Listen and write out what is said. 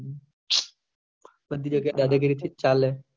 સબ જગ્યા દાદા ગીરી થી જ ચાલે